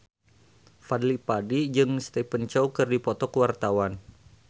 Fadly Padi jeung Stephen Chow keur dipoto ku wartawan